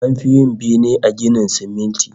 An fi yin bene da ginin siminti